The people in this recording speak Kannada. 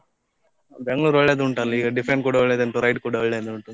Bengaluru ಒಳ್ಳೆದುಂಟಲ್ಲ, ಈಗ defend ಕೂಡಾ ಒಳ್ಳೆದುಂಟು ride ಕೂಡ ಒಳ್ಳೆದುಂಟು.